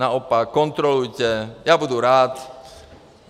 Naopak, kontrolujte, já budu rád.